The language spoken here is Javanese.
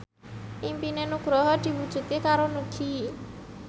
impine Nugroho diwujudke karo Nugie